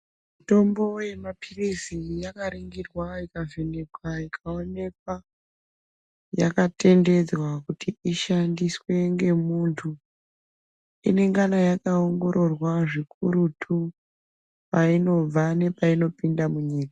Mitombo yemaphirisi yakaringirwa ikavhenekwa , ikawonekwa yakatendedzwa kuti ishandiswe ngemuntu. Inengana yaka ongororwa zvikurutu payinobva nepayinopinda munyika.